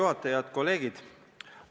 Head kolleegid!